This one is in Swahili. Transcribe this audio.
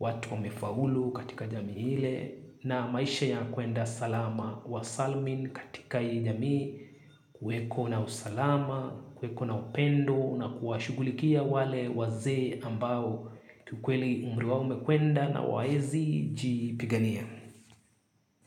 watu wamefaulu katika jamii ile. Na maisha ya kwenda salama wa salumin katika hiijamii kuweko na usalama kuweko na upendo na kuwashughulikia wale waze ambao kiukweli umri wa umekwenda na hawawezi jipigania.